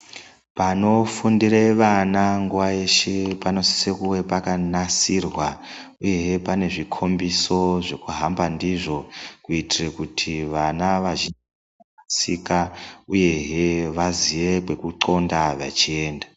Panofundira vana nguwa dzeshe panosisa kuve pakanasirwa uyehe pane zvikombiso zvekuhamba ndizvo kuitira kuti vana vazhinji vasarasika uyehe vaziye kwekunxonda vechienda.